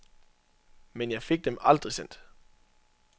Men jeg fik dem aldrig sendt.